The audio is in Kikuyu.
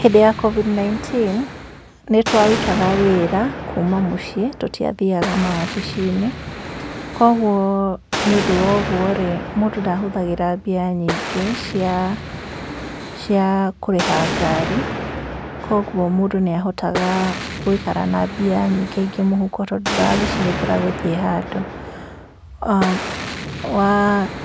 Hĩndĩ ya COVID-19 nĩtwarutaga wĩra kuuma mũciĩ tũtĩathiaga maabicinĩ, kwoguo nĩũndu wa ũguo ri mũndũ ndahũthagĩra mbia nyingĩ cia kũrĩha ngari ,kwoguo mũndũ niahotaga gũikara na mbia nyingĩ mũhuko tondũ ndũragĩcihũthĩra gũthii handũ,